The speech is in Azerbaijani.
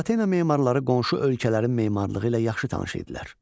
Atropatena memarları qonşu ölkələrin memarlığı ilə yaxşı tanış idilər.